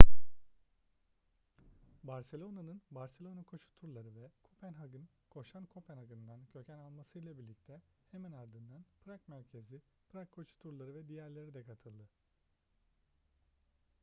barcelona'nın barcelona koşu turları ve kopenhag'ın koşan kopenhag'ından köken almasıyla birlikte hemen ardından prag merkezli prag koşu turları ve diğerleri de katıldı